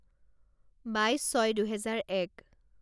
বাইছ ছয় দুহেজাৰ এক